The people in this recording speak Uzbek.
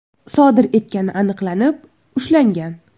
sodir etgani aniqlanib, ushlangan.